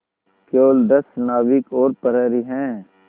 केवल दस नाविक और प्रहरी है